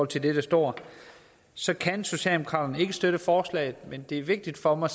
til det der står så kan socialdemokratiet ikke støtte forslaget men det er vigtigt for mig